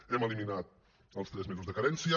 hem eliminat els tres mesos de carència